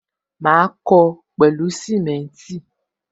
Ma kó o pẹlu simenti